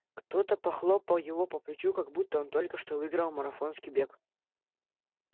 кто-то похлопал его по плечу как будто он только что выиграл марафонский бег